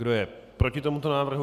Kdo je proti tomuto návrhu?